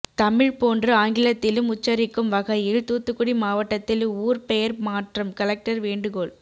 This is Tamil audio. தமிழ் போன்று ஆங்கிலத்திலும் உச்சரிக்கும் வகையில் தூத்துக்குடி மாவட்டத்தில் ஊர் பெயர் மாற்றம் கலெக்டர் வேண்டுகோள்